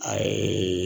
A ye